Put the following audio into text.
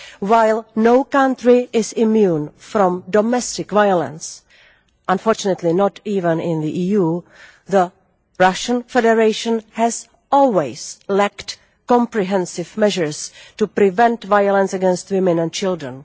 While no country is immune from domestic violence, unfortunately not even in the EU, the Russian Federation has always lacked comprehensive measures to prevent violence against women and children.